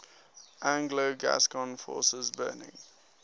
anglo gascon forces burning